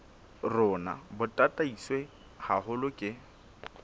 rona bo tataiswe haholo ke